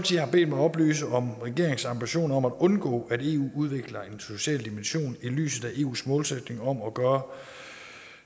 bedt mig oplyse om regeringens ambitioner om at undgå at eu udvikler en social dimension i lyset af eus målsætning om at gøre